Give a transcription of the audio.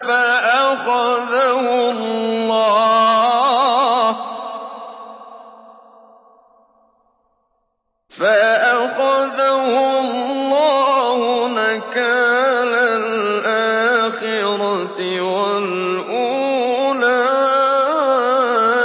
فَأَخَذَهُ اللَّهُ نَكَالَ الْآخِرَةِ وَالْأُولَىٰ